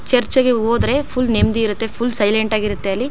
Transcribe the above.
Church ಗೆ ಹೋದ್ರೆ full ನೆಮ್ಮದಿ ಇರುತ್ತೆ ಫುಲ್ ಸೈಲೆಂಟ್ ಆಗಿರುತ್ತೆ ಅಲ್ಲಿ.